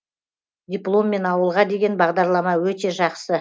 дипломмен ауылға деген бағдарлама өте жақсы